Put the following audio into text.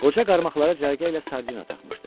Qoca qarmaqlara cərgə ilə sardina taxmışdı.